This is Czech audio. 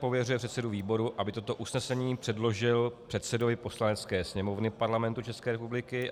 Pověřuje předsedu výboru, aby toto usnesení předložil předsedovi Poslanecké sněmovny Parlamentu České republiky.